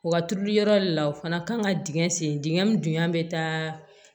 Wa turuliyɔrɔ de la o fana kan ka dingɛ sen dingɛ min dingɛ bɛ taa